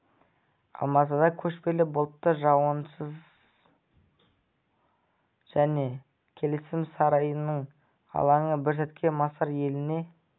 алматыда көшпелі бұлтты жауын-шашынсыз жел тұрады астанадағы бейбітшілік және келісім сарайының алаңы бір сәтке мысыр еліне